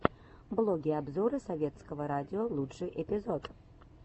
блоги и обзоры советского радио лучший эпизод